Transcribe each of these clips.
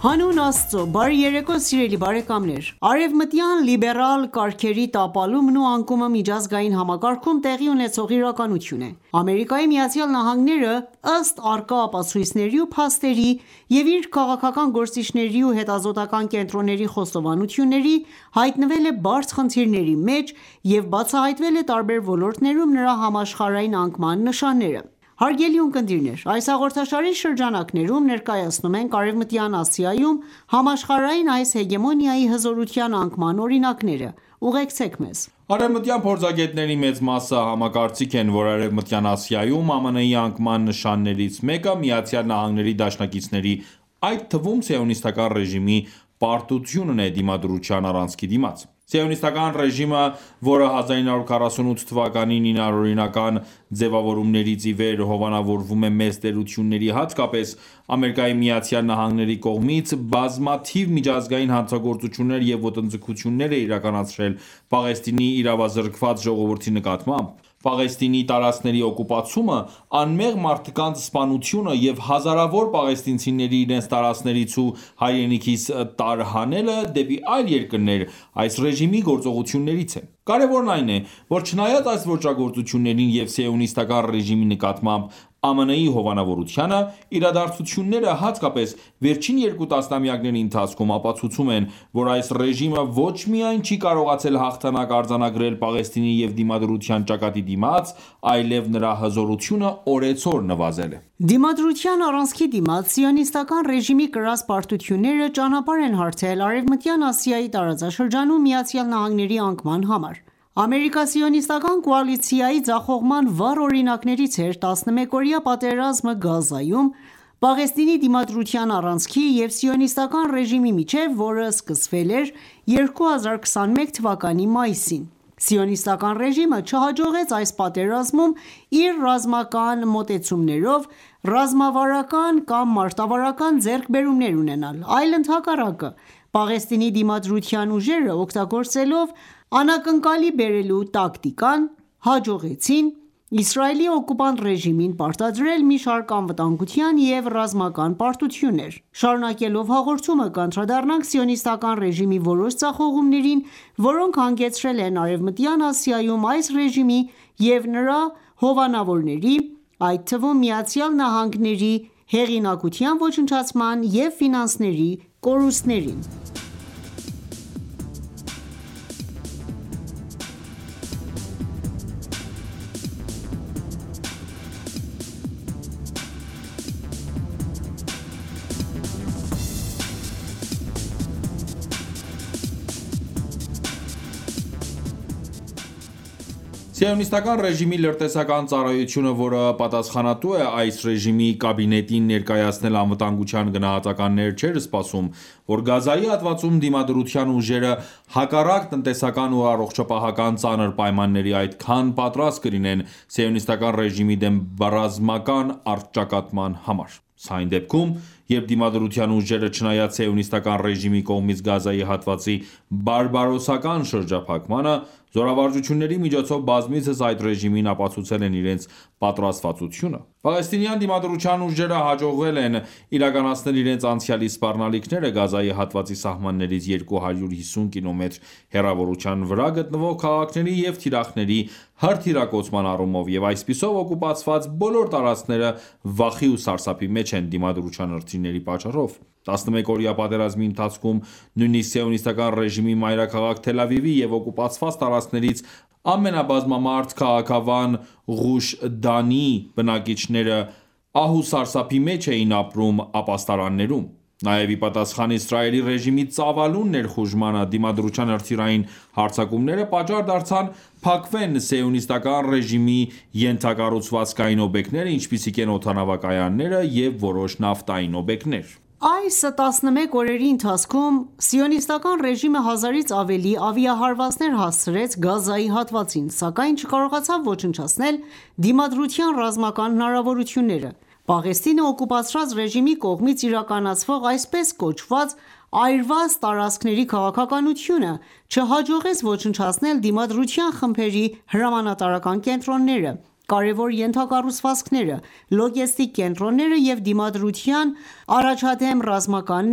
Հանուն Աստծու ,բարի երեկո սիրելի բարեկամներ: Արևմտյան լիբերալ կարգերի տապալումն ու անկումը միջազգային համակարգում տեղի ունեցող իրականություն է: Ամերիկայի Միացյալ Նահանգները, ըստ առկա ապացույցների ու փաստերի և իր քաղաքական գործիչների ու հետազոտական կենտրոնների խոստովանությունների ,հայտնվել է բարդ խնդիրների մեջ, և բացահայտվել է տարբեր ոլորտներում նրա համաշխարհային անկման նշանները: Հարգելի ունկնդիրներ ,այս հաղորդաշարի շրջանակներում ներկայացնում ենք Արևմտյան Ասիայում համաշխարհային այս հեգեմոնիայի հզորության անկման օրինակները։ Ուղեկցեք մեզ: Արևմտյան փորձագետների մեծ մասը համակարծիք են, որ Արևմտյան Ասիայում ԱՄՆ-ի անկման նշաններից մեկը՝ ԱՄՆ-ի դաշնակիցների, այդ թվում՝ սիոնիստական ռեժիմի պարտությունն է Դիմադրության առանցքի դիմաց: Սիոնիստական ռեժիմը, որը 1948 թվականին իր անօրինական ձևավորումից ի վեր՝հովանավորվում է մեծ տերությունների, հատկապես՝ ԱՄՆ-ի կողմից, բազմաթիվ միջազգային հանցագործություններ և ոտնձգություններ է իրականացրել Պաղեստինի իրավազրկված ժողովրդի նկատմամբ։ Պաղեստինի տարածքների օկուպացումը, անմեղ մարդկանց սպանությունը և հազարավոր պաղեստինցիների իրենց տարածքներից ու հայրենիքից տարհանելը դեպի այլ երկրներ, այս ռեժիմի գործողություններից են։ Կարևորն այն է, որ չնայած այս ոճրագործություններին և սիոնիստական ռեժիմի նկատմամբ ԱՄՆ-ի հովանավորությանը, իրադարձությունները, հատկապես՝ վերջին երկու տասնամյակների ընթացքում, ապացուցում են, որ այս ռեժիմը ոչ միայն չի կարողացել հաղթանակ արձանագրել Պաղեստինի և Դիմադրության ճակատի դիմաց, այլև նրա հզորությունը օրեցօր նվազել է: Դիմադրության առանցքի դիմաց սիոնիստական ռեժիմի կրած պարտությունները ճանապարհ են հարթել Արեւմտյան Ասիայի տարածաշրջանում ԱՄՆ-ի անկման համար: Ամերիկա-սիոնիստական կոալիցիայի ձախողման վառ օրինակներից էր՝ 11-օրյա պատերազմը՝ Գազայում, Պաղեստինի դիմադրության առանցքի և սիոնիստական ռեժիմի միջև, որը սկսվել էր 2021 թվականի մայիսին։ Սիոնիստական ռեժիմը չհաջողեց այս պատերազմում իր ռազմական մոտեցումներով ռազմավարական կամ մարտավարական ձեռքբերումներ ունենալ, այլ ընդհակառակը, Պաղեստինի Դիմադրության ուժերը օգտագործելով՝ անակնկալի բերելու տակտիկան, հաջողեցին Իսրայելի օկուպանտ ռեժիմին պարտադրել մի շարք անվտանգության և ռազմական պարտություններ: Շարունակելով հաղորդումը կանդրադառնանք սիոնիստական ռեժիմի որոշ ձախողումներին, որոնք հանգեցրել են Արևմտյան Ասիայում այս ռեժիմի և նրա հովանավորների, այդ թվում՝ ԱՄՆ-ի հեղինակության ոչնչացման և ֆինանսական կորուստների։ Սիոնիստական ռեժիմի լրտեսական ծառայությունը, որը պատասխանատու է այս ռեժիմի կաբինետին ներկայացնել անվտանգության գնահատականներ չէր սպասում, որ Գազայի հատվածում Դիմադրության ուժերը հակառակ տնտեսական ու առոջապահական ծանր պայմանների, այդքան պատրաստ կլինեն սիոնիստական ռեժիմի դեմ ռազմական առճակատման համար: Սա այն դեպքում, երբ Դիմադրության ուժերը, չնայած սիոնիստական ռեժիմի կողմից Գազայի հատվածի բարբարոսական շրջափակմանը, զորավարժությունների միջոցով բազմիցս այդ ռեժիմին ապացուցել են իրենց պատրաստվածությունը: Պաղեստինյան Դիմադրության ուժերը հաջողել են իրականացնել իրենց անցյալի սպառնալիքները Գազայի հատվածի սահմաններից 250 կիլոմետր հեռավորության վրա գտնվող քաղաքների և թիրախների հրթիռակոծման առումով և այսպիսով օկուպացված բոլոր տարածքները վախի ու սարսափի մեջ են Դիմադրության հրթիռների պատճառով: 11-օրյա պատերազմի ընթացքում ,նույնիսկ սիոնիստական ռեժիմի մայրաքաղաք ԹելԱվիվի և օկուպացված տարածքներից ամենաբազմամարդ քաղաքավան Ղուշ Դանի բնակիչները ահուսարսափի մեջ էին ապրում ապաստարաններում: Նաև ի պատասխան Իսրայելի ռեժիմի ծավալուն ներխուժմանը ,Դիմադրության հրթիռային հարձակումները, պատճառ դարձան փակվեն սիոնիստական ռեժիմի ենթակառուցվածքային օբյեկտները, ինչպիսիք են՝ օդանավակայանները և որոշ նավթային օբյեկտներ: Այս տասնմեկ օրերի ընթացքում, սիոնիստական ռեժիմը 1000-ից ավելի ավիահարվածներ հասցրեց Գազայի հատվածին, սակայն չկարողացավ ոչնչացնել Դիմադրության ռազմական հնարավորությունները։ Պաղեստինը օկուպացրած ռեժիմի կողմից իրականացվող այսպես կոչված այրված տարածքների քաղաքականությունը չհաջողեց ոչնչացնել Դիմադրության խմբերի հրամանատարական կենտրոնները, կարևոր ենթակառուցվածքները, լոգեստիկ կենտրոնները և Դիմադրության առաջադեմ ռազմական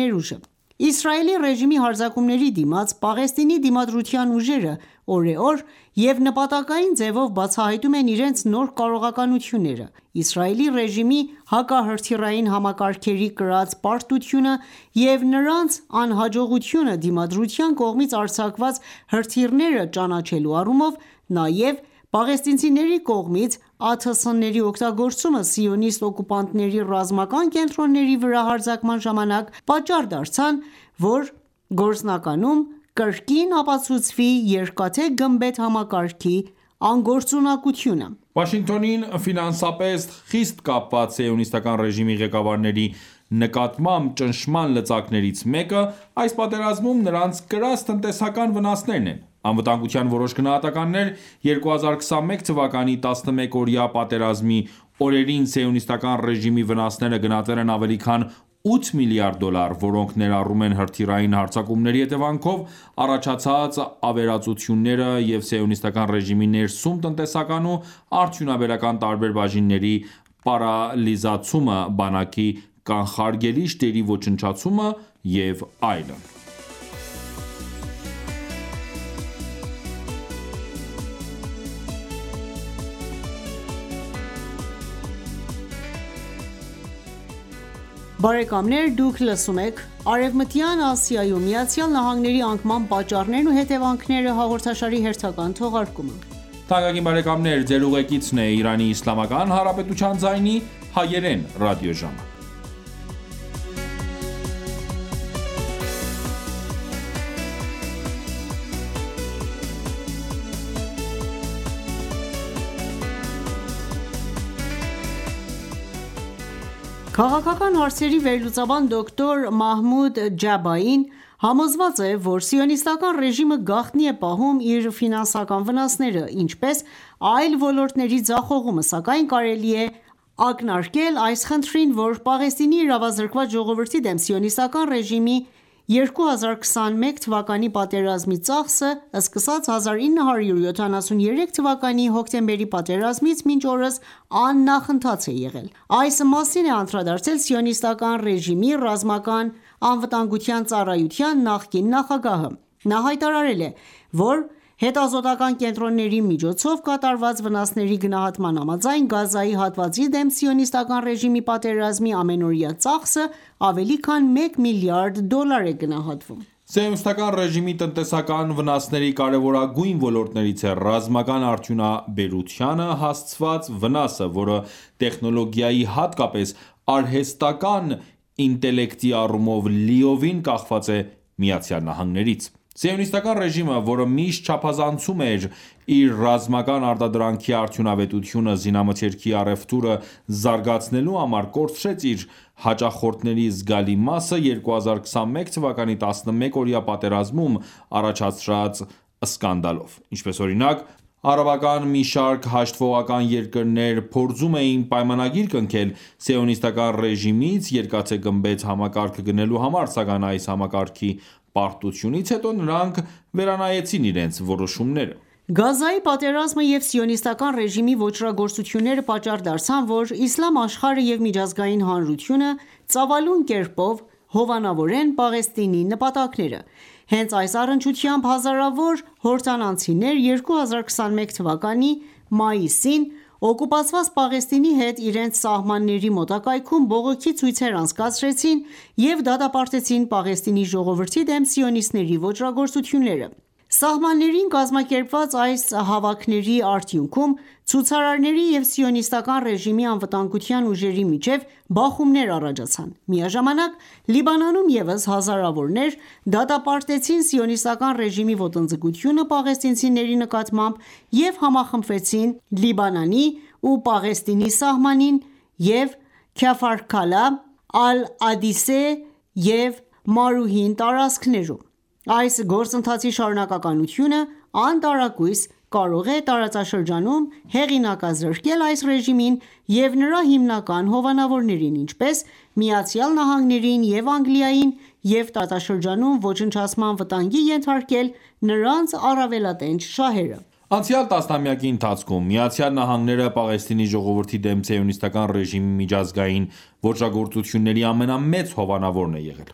ներուժը:Իսրայելի ռեժիմի հարձակումների դիմաց ,Պաղեստինի Դիմադրության ուժերը օրեօր և նպատակային ձևով բացահայտում են իրենց նոր կարողականությունները: Իսրայելի ռեժիմի հակահրթիռային համակարգերի կրած պարտությունը և նրանց անհաջողությունը Դիմադրության կողմից արձակված հրթիռները ճանաչելու առումով ,նաև պաղեստինցիների կողմից ԱԹՍ-ների օգտագործումը սիոնիստ օկուպանտների ռազմական կենտրոնների վրա հարձակման ժամանակ ,պատճառ դարձան որ գործնականում կրկին ապացուցվի երկաթե գմբեթ համակարգերի անգործունակությունը: Վաշինգտոնին ֆինանսապես խիստ կապված սիոնիստական ռեժիմի ղեկավարների նկատմամբ ճնշման լծակներից մեկը ՝այս պատերազմում նրանց կրած տնտեսական վնասներն են: Անվտանգության որոշ գնահատականներ ,2021 թվականի 11 օրյա պատերազմի օրերին սիոնիստական ռեժիմի վնասները գնահատել են ավելի քան 8 միլիադ դոլար ,որոնք ներառում են՝հրթիռային հարձակումների հետևանքով առաջացած ավերածությունները և սիոնիստական ռեժիմի ներսում տնտեսական ու արդյունաբերական տարբեր բաժինների պարալիզացումը ,բանակի կանխարգելիչ դերի ոչնչացումը և այլն: Քաղաքական հարցերի վերլուծաբան դոկտոր Մահմուդ Ջաբային համոզված է ,որ սիոնիստական ռեժիմը գաղտնի է պահում իր ֆինանսական վնասները ,ինչպես այլ ոլորտների ձախողումը ,սակայն կարելի է ակնարկել այս խնդրին ,որ Պաղեստինի իրավազրկված ժողովրդի դեմ սիոնիստական ռեժիմի 2021-ի պատերազմի ծախսը ,սկսած 1973 թվականի հոկտեմբերի պատերազմից մինչ օրս աննախընթաց է եղել: Այս մասին է անդրադարձել սիոնիստական ռեժիմի ռազմական անվտանգության ծառայության նախկին նախագահը: Նա հայտարարել էր ,որ հետազոտական կենտրոնների միջոցով կատարված վնասների գնահատման համաձայն ,Գազայի հատվածի դեմ սիոնիստական ռեժիմի պատերազմի ամենօրյա ծախսը ավելի քան մեկ միլիարդ դոլար է գնահատվում ։ Սիոնիստական ռեժիմի տնտեսական վնասների կարևորագույն ոլորտներից է ՝ռազմական արդյունաբերությանը հասցված վնասը ,որը տեխնոլոգիայի, հատկապես արհեստական ինտելեկտի առումով լիովին կախված է ԱՄՆ-ից: Սիոնիստական ռեժիմը, որը միշտ չափազանցում էր իր ռազմական արտադրանքի արդյունավետությունը զինամթերքի առևտուրը զարգացնելու համար, կորցրեց իր հաճախորդների զգալի մասը, 2021 թվականի 11-օրյա պատերազմում առաջացրած սկանդալով։ Ինչպես օրինակ արաբական մի շարք հաշտվողական երկրներ փորձում էին պայմանագիր կնքել՝ սիոնիստական ռեժիմից երկաթե գմբեթ համակարգը գնելու համար, սակայն այս համակարգի պարտությունից հետո ,նրանք վերանայեցին իրենց որոշմումը։ Գազայի պատերազմը և սիոնիստական ռեժիմի ոճրագործությունները պատճառ դարձան ,որ Իսլամ աշխարհը և միջազգային հանրությունը ծավալուն կերպով հովանավորեն Պաղեստինի նպատակները: Հենց այս առնչությամբ հազարավոր հորդանանցիներ 2021 թվականի մայիսին օկուպացված Պաղեստինի հետ իրենց սահմանների մոտակայքում ,բողոքի ցույցեր անցկացրեցին և դատապարտեցին Պաղեստինի ժողովրդի դեմ սիոնիստների ոճրագործությունները: Սահմաններին կազմակերպված այս հավաքների արդյունքում ,ցուցարարների և սիոնիստական ռեժիմի անվտանգության ուժերի միջև բախումներ առաջացան: Միաժամանակ Լիբանանում ևս հազարավորներ դատապարտեցին սիոնիստական ռեժիմի ոտնձգությունը պաղեստինցիների նկատմամբ և համախմբվեցին Լիբանանի ու Պաղեստինի սահմանին և Քաֆար Քալա, ԱլԱդիսե և Մարուհին տարածքներում: Այս գործընթացի շարունակականությունը անտարակույս կարող է տարածաշրջանում հեղինակազրկել այս ռեժիմին և նրա հիմնական հովանավորներին ,ինչպես՝ ԱՄՆ-ին և Անգլիային և տարածաշրջանում ոչնչացման վտանգի ենթարկել նրանց առավելատենչ շահերը: Անցյալ տասնամյակի ընթացքում ԱՄՆ-ը ,Պաղեստինի ժողովրդի դեմ սիոնիստական ռեժիմի միջազգային ոճրագործությունների ամենամեծ հովանավորն է եղել: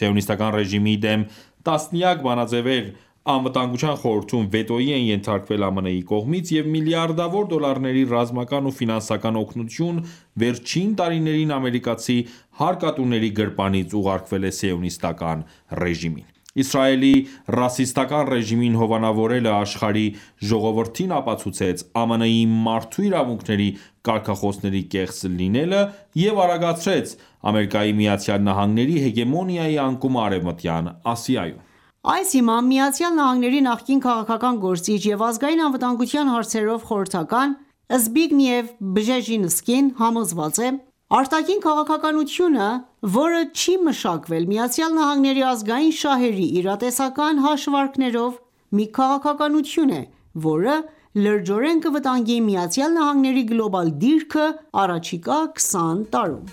Սիոնիստական ռեժիմի դեմ տասնյակ բանաձևեր Անվտանգության խորհրդում վետոի են ենթարկվել ԱՄՆ-ի կողմից և միլիարդավոր դոլարների ռազմական ու ֆինանսական օգնություն վերջին տարիներին ամերիկացի հարկատուների գրպանից ուղարկվել է սիոնիստական ռեժիմին: Իսրայելի ռասիստական ռեժիմին հովանավորելը աշխարհի ժողովրդին ապացուցեց ԱՄՆ-ի մարդու իրավունքների կարգախոսների կեղծ լինելը և արագացրեց ԱՄՆ-ի հեգեմոնիայի անկումը Արևմտյան Ասիայում: Այս հիմամբ՝ ԱՄՆ-ի նախկին քաղաքական գործիչ և ազգային անվտանգության հարցերով խորհրդական Զբիգնև Բժեզինսկին համոզված է.-«Արտաքին քաղաքականությունը, որը չի մշակվել ԱՄՆ-ի ազգային շահերի իրատեսական հաշվարկներով, մի քաղաքականություն է, որը լրջորեն կվտանգի ԱՄՆ-ի գլոբալ դիրքը առաջիկա 20 տարում»։